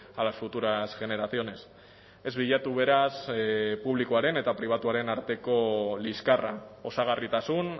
a las futuras generaciones ez bilatu beraz publikoaren eta pribatuaren arteko liskarra osagarritasun